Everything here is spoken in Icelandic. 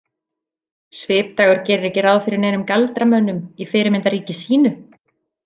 Svipdagur gerir ekki ráð fyrir neinum galdramönnum í fyrirmyndarríki sínu.